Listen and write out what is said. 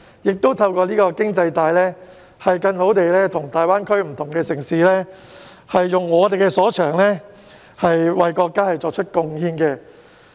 此外，透過這條經濟帶，香港亦可更好地與大灣區的不同城市合作，發揮我們所長，為國家作出貢獻。